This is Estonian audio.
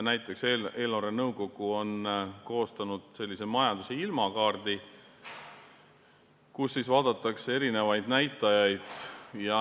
Näiteks on eelarvenõukogu koostanud majanduse ilmakaardi, kus vaadatakse eri näitajaid.